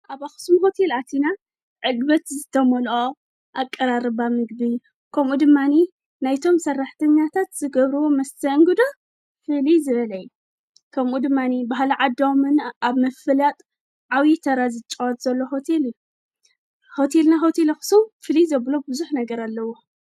ኣብ ኣኽስም ሁቲል ኣቲና ዕግበት ዝተሞልኦ ኣቀራርባ ምግቢ ከምኡ ድማኒ ናይቶም ሠራሕተኛታት ዝገብርዎ መስተአንግዶ ፊል ዘበለይ ከምኡ ድማኒ ብህለ ዓዳምን ኣብ መፍላጥ ዓዊተራ ዝጸዋት ዘለ ትል እዩ ሆቲልና ሆቲለ ኣኽስም ፍሊ ዘብሎ ብዙኅ ነገር ኣለዎ።